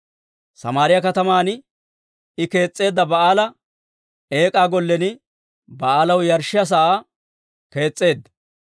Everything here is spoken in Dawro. Samaariyaa kataman I kees'isseedda Ba'aala Eek'aa Gollen Ba'aalaw yarshshiyaa sa'aa kees's'eedda.